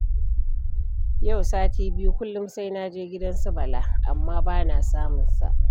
Yau sati biyu kullum sai na je gidan su Bala, amma ba na samun sa.